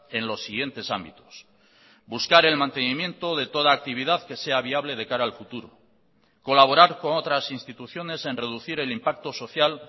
en los siguientes ámbitos buscar el mantenimiento de toda actividad que se a viable de cara al futuro colaborar con otras instituciones en reducir el impacto social